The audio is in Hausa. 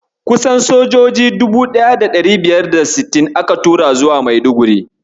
Kusan sojoji 1560 aka tura zuwa Maiduguri.